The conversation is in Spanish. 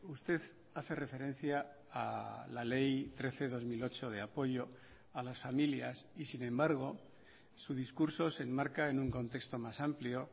usted hace referencia a la ley trece barra dos mil ocho de apoyo a las familias y sin embargo su discurso se enmarca en un contexto más amplio